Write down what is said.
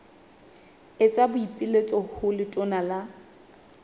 etsa boipiletso ho letona la